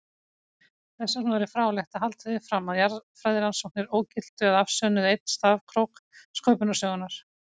Þessvegna væri fráleitt að halda því fram að jarðfræðirannsóknir ógiltu eða afsönnuðu einn stafkrók sköpunarsögunnar.